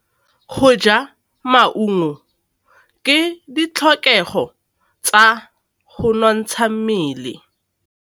Go ja maungo ke ditlhokegô tsa go nontsha mmele.